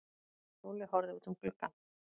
Lúlli horfði út um gluggann.